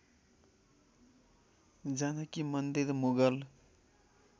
Janaki Mandir Mughal